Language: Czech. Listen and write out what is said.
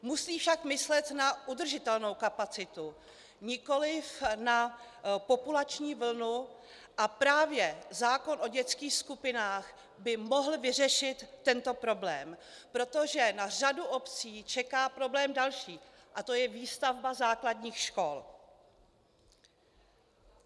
Musí však myslet na udržitelnou kapacitu, nikoli na populační vlnu, a právě zákon o dětských skupinách by mohl vyřešit tento problém, protože na řadu obcí čeká problém další a to je výstavba základních škol.